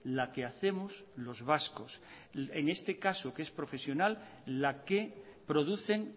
la que hacemos los vascos en este caso que es profesional la que producen